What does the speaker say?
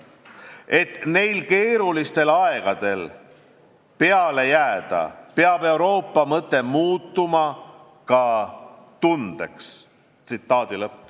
Et neil keerulistel aegadel peale jääda, peab Euroopa mõte muutuma ka tundeks.